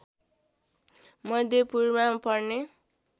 मध्यपूर्वमा पर्ने